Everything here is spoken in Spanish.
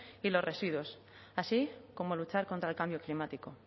y los residuos así como luchar contra el cambio climático